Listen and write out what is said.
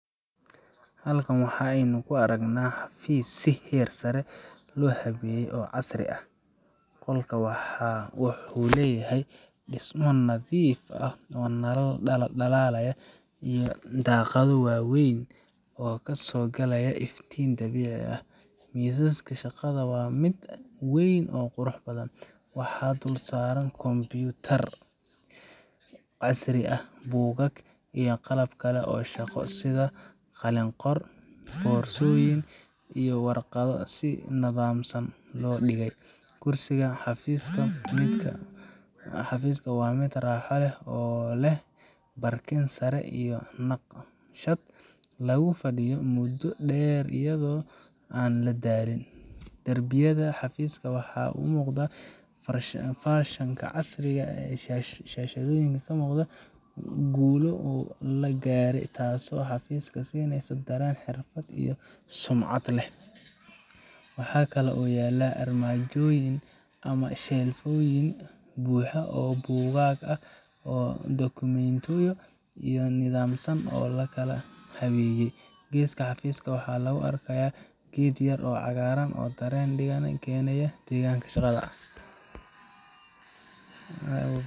Halkan waxa aynu ka aragnaa xafiis si heer sare ah loo habeeyay oo casri ah. Qolka wuxuu leeyahay dhismo nadiif ah, nalal dhalaalaya, iyo daaqado waaweyn oo ka soo gelaya iftiin dabiici ah. Miiska shaqada waa mid weyn oo qurux badan, waxaana dul saaran kombuyuutar casri ah, buugaag, iyo qalab kale oo shaqo sida qalin qor, boorsooyin, iyo warqado si nidaamsan loo dhigey. Kursiga xafiiska waa mid raaxo leh oo leh barkin sare iyo naqshad lagu fadhiyo muddo dheer iyadoo aan la daalin. Darbiyada xafiiska waxaa ka muuqda farshaxan casri ah ama shahaadooyin muujinaya guulo la gaaray, taasoo xafiiska siineysa dareen xirfad iyo sumcad leh. Waxaa kaloo yaalla armaajooyin ama shelfyo buuxa oo buugaag ah iyo dukumiintiyo si nidaamsan loo kala habeeyey. Geeska xafiiska waxaa lagu arkayaa geed yaryar oo cagaaran oo dareen deggan u keenaya deegaanka shaqada.